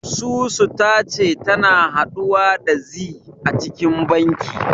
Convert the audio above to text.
Susu ta ce tana haɗuwa da zee a cikin banki.